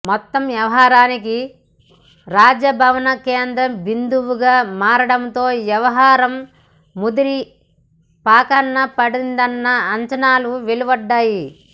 మొత్తం వ్యవహారానికి రాజభవన్ కేంద్ర బిందువుగా మారడంతో వ్యవహారం ముదిరిపాకాన పడిందన్న అంచనాలు వెలువడ్డాయి